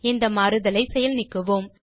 இந்த மாறுதலை செயல் நீக்குவோம்